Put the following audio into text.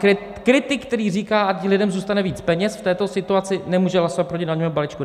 Kritik, který říká, ať lidem zůstane víc peněz v této situaci, nemůže hlasovat proti daňovému balíčku.